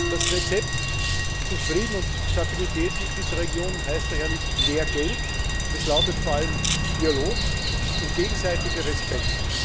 Das Rezept zu Frieden und Stabilität in dieser Region heißt daher nicht mehr Geld, es lautet vor allem Dialog und gegenseitiger Respekt.